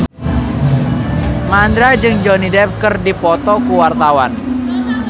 Mandra jeung Johnny Depp keur dipoto ku wartawan